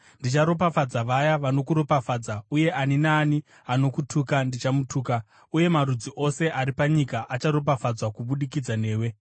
Ndicharopafadza vaya vanokuropafadza, uye ani naani anokutuka ndichamutuka; uye marudzi ose ari panyika acharopafadzwa kubudikidza newe.”